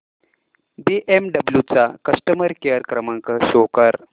BMW चा customer care क्रमांक show कर